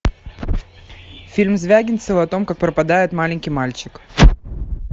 фильм звягинцева о том как пропадает маленький мальчик